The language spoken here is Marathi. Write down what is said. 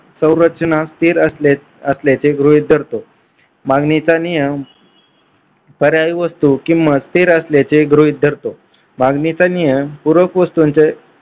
सौररचना स्थिर असल्याचे गृहीत धरतो मागणीचा नियम बऱ्याच वस्तू किंमत स्थिर असल्याचे गृहीत धरतो. मागणीचा नियम पूरक वस्तूंचे